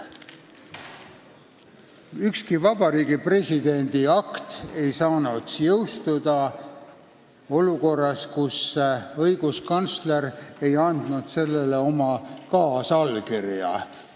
Ükski Vabariigi Presidendi akt ei saanud jõustuda olukorras, kus õiguskantsler ei olnud sellele oma kaasallkirja andnud.